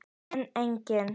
en einnig